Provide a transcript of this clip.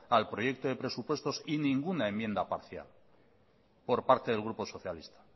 al proyecto de presupuestos y ninguna enmienda parcial por parte del grupo socialista